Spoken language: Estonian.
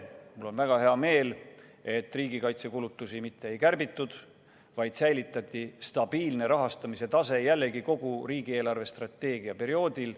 Mul on väga hea meel, et riigikaitsekulutusi mitte ei kärbitud, vaid säilitati stabiilne rahastamise tase, seda jällegi kogu riigi eelarvestrateegia perioodil.